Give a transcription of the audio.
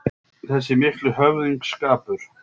Þessi mikli höfðingsskapur